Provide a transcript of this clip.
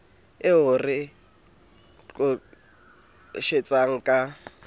eo le re qhoshetsang ka